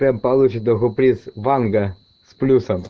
прям получит нахуй приз ванга с плюсом